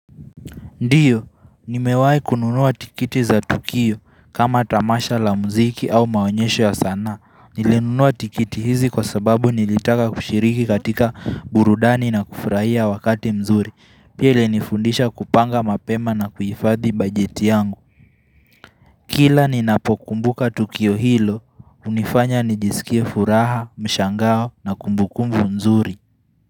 Ndio, nimewahi kununuwa tikiti za Tukio kama tamasha la muziki au maonyesho ya sanaa. Nilinunua tikiti hizi kwa sababu nilitaka kushiriki katika burudani na kufurahia wakati mzuri. Pia ilinifundisha kupanga mapema na kuhifadhi bajeti yangu. Kila ninapokumbuka Tukio hilo, unifanya nijisikia furaha, mshangao na kumbukumbu mzuri.